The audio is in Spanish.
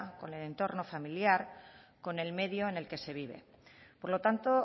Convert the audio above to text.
con el entorno familiar con el medio en el que se vive por lo tanto